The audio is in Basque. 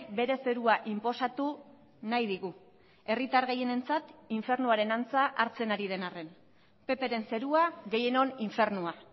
bere zerua inposatu nahi digu herritar gehienentzat infernuaren antza hartzen ari den arren pp ren zerua gehienon infernua